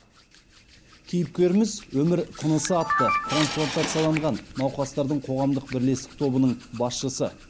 кейіпкеріміз өмір тынысы атты трансплантацияланған науқастардың қоғамдық бірлестік тобының басшысы